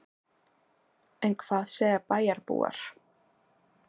En hvað segja bæjarbúar?